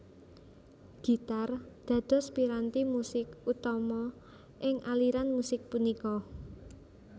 Gitar dados piranti musik utama ing aliran musik punika